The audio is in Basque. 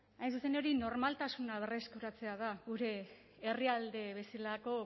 hain zuzen ere normaltasuna berreskuratzea da gure herrialde bezalako